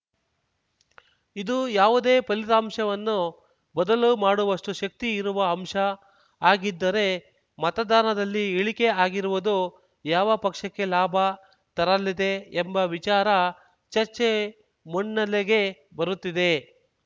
ಇದು ಯಾವುದೇ ಫಲಿತಾಂಶವನ್ನು ಬದಲು ಮಾಡುವಷ್ಟುಶಕ್ತಿ ಇರುವ ಅಂಶ ಹಾಗಿದ್ದರೆ ಮತದಾನದಲ್ಲಿ ಇಳಿಕೆ ಆಗಿರುವುದು ಯಾವ ಪಕ್ಷಕ್ಕೆ ಲಾಭ ತರಲಿದೆ ಎಂಬ ವಿಚಾರ ಚರ್ಚೆ ಮುನ್ನೆಲೆಗೆ ಬರುತ್ತಿದೆ